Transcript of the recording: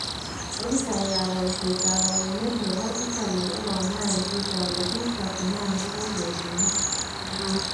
Opisaek ab boishet ab awenet nebo Italy kokamwaa en Twitter kole biik 39 kokotenak